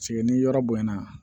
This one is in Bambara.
ni yɔrɔ bonyana